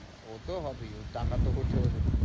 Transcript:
ও তো হবেই, ওর টাকা তো ওঠেও না।